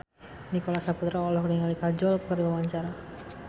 Nicholas Saputra olohok ningali Kajol keur diwawancara